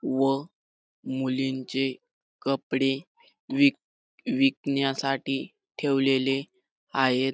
व मुलींचे कपडे विक विकण्यासाठी ठेवलेले आहेत.